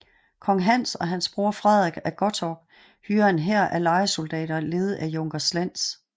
Kong Hans og hans bror Frederik af Gottorp hyrer en hær af lejesoldater ledet af junker Slentz